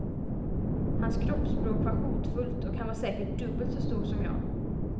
Hans kroppsspråk var hotfullt och han var säkert dubbelt så stor som jag.